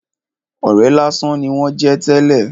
Ọ̀rẹ́ lásán ni wón jẹ́ tẹ́lè.